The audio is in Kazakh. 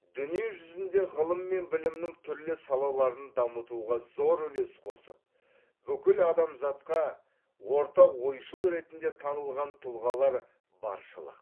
дүние жүзінде ғылым мен білімнің түрлі салаларын дамытуға зор үлес қосып бүкіл адамзатқа ортақ ойшыл ретінде танылған тұлғалар баршылық